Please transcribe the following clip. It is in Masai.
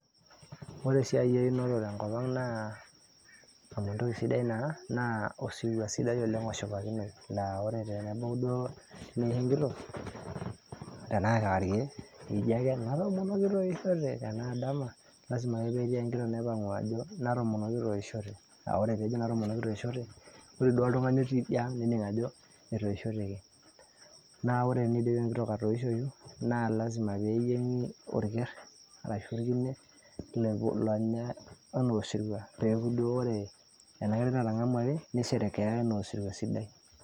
ore esiai eyunoto tenkopang amu entoki sidai naa sidai oleng' oshipakinoi naa ore tenebau duoo neisho enkitok tenaa kewarie eji ake "natomonok kitoishote" naa tenaa dama lazima ake petii enkitok naipangu' ajo natomonok kitoishote, ore duoo oltung'ani otii idia ang' nening' ajo etoisheteki ore peyie idip enkitok atoishoyu naa naa lazima peyie eyieng'i olker arashu olkine lonyai anaa osirua peeku duo ore enakerai natang'amuaki nisherekeai anaa osirua sidai.